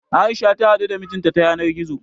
A'isha ta haɗu da mijin ta a yanar gizo.